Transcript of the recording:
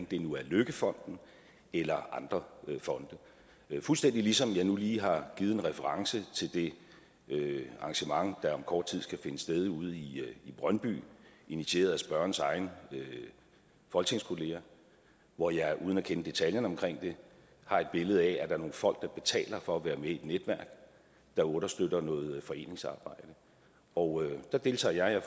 det nu er løkkefonden eller andre fonde fuldstændig ligesom jeg nu lige har givet en reference til det arrangement der om kort tid skal finde sted ude i brøndby initieret af spørgerens egen folketingskollega hvor jeg uden at kende detaljerne omkring det har et billede af at der er nogle folk der betaler for at være med i et netværk der understøtter noget foreningsarbejde og der deltager jeg jeg